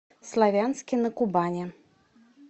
славянске на кубани